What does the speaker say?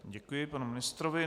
Děkuji panu ministrovi.